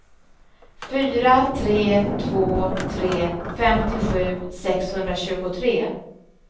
fyra tre två tre femtiosju sexhundratjugotre